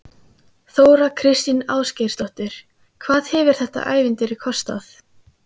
Þóra Kristín Ásgeirsdóttir: Hvað hefur þetta ævintýri kostað?